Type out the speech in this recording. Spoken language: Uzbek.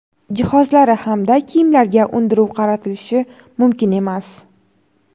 jihozlari hamda kiyimlarga undiruv qaratilishi mumkin emas:.